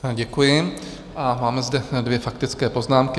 Děkuji a máme zde dvě faktické poznámky.